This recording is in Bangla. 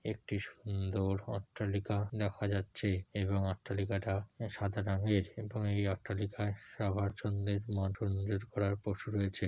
একটি সুন্দর অট্টালিকা দেখা যাচ্ছে এবং অট্টলিকাটা সাদা রঙের এবং এই অট্টলিকায় সবার জন্য রয়েছে।